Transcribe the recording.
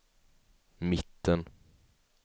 mitten